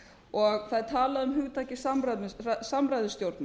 og það er talað um hugtakið samræðustjórnmál